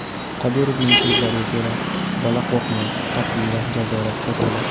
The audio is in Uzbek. Qodirovning so‘zlariga ko‘ra, bola qo‘rqmas, qat’iy va jazoratga to‘la.